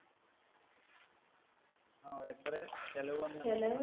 ങ്ഹാ എത്ര ചെലവ് വന്ന്